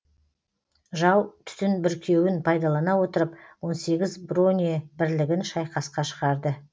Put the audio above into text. жау түтін бүркеуін пайдалана отырып он сегіз бронебірлігін шайқасқа шығарды